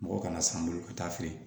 Mɔgɔ kana san n bolo ka taa feere